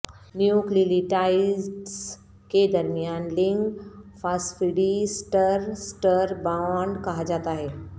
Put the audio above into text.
nucleotides کے درمیان link phosphodiester bond کہا جاتا ہے